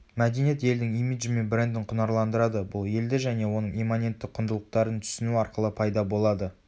мәдениет елдің имиджі мен брендін құнарландырады бұл елді және оның имманентті құндылықтарын түсіну арқылы пайда болады